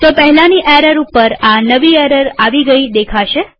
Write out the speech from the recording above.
તો પહેલાની એરર ઉપર આ નવી એરર આવી ગઈ દેખાશે